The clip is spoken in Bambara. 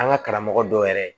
An ka karamɔgɔ dɔw yɛrɛ